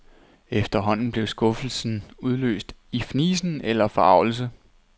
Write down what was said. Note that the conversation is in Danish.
Efterhånden blev skuffelsen udløst i fnisen eller forargelse.